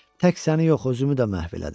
Tək səni yox, özümü də məhv elədim.